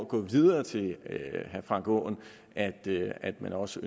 gå videre til herre frank aaen at at man også